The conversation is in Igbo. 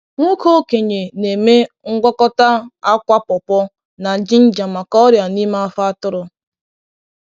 Nwoke okenye na-eme ngwakọta akwa pawpaw na jinja maka ọrịa n’ime afọ atụrụ.